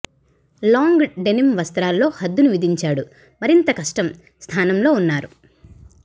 long denim వస్త్రాల్లో హద్దును విధించాడు మరింత కష్టం స్థానంలో ఉన్నారు